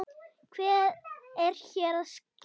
Hvað er hér að ske!?